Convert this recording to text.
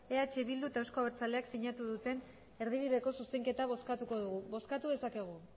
eh bildu eta euzko abertzaleak sinatu duten erdibideko zuzenketa bozkatuko dugu bozkatu dezakegu